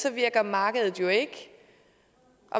virker markedet jo ikke